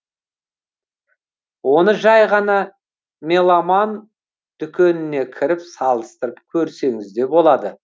оны жай ғана меломан дүкеніне кіріп салыстырып көрсеңіз де болады